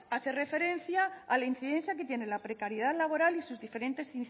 hace referencia a la incidencia que tiene la precariedad laboral y sus diferentes